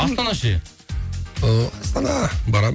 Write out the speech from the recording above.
астана ше ыыы астана барамын